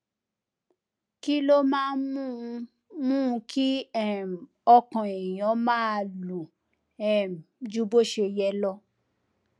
kí ló máa ń mú ń mú kí um ọkàn èèyàn máa lù um ju bó ṣe yẹ lọ